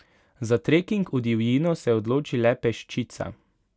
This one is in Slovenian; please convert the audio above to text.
Za treking v divjino se odloči le peščica.